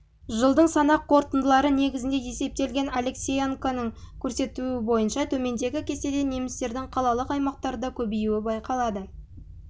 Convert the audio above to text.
жылдың санақ қорытындылары негізінде есептелген алексеенконың көрсетуі бойынша төмендегі кестеде немістердің қалалық аймақтарда көбеюі байқалады